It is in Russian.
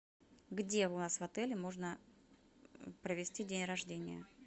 где у вас в отеле можно провести день рождения